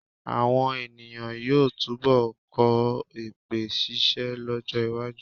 Àwọn è̀nìyàn yóò túnbọ̀ kọ́ èpè ṣíṣẹ́ lọ́jọ́-iwájú.